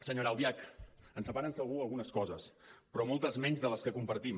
senyora albiach ens separen segur algunes coses però moltes menys de les que compartim